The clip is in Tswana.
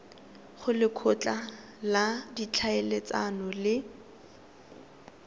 go lekgotla la ditlhaeletsano le